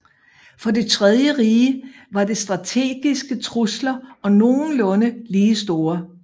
For det Tredje rige var de strategiske trusler nogenlunde lige store